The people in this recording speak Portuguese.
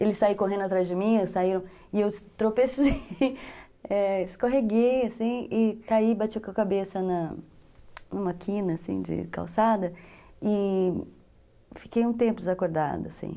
Eles saíram correndo atrás de mim, saíram, e eu tropecei, escorreguei, assim, e caí, bati com a cabeça numa quina, assim, de calçada, e fiquei um tempo desacordada, assim.